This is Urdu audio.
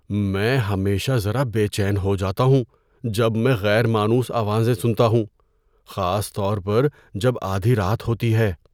میں ہمیشہ ذرا بے چین ہو جاتا ہوں جب میں غیر مانوس آوازیں سنتا ہوں، خاص طور پر جب آدھی رات ہوتی ہے۔